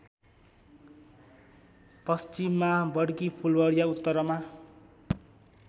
पश्चिममा बडकीफुलवरिया उत्तरमा